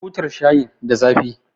Butar shayin da zafi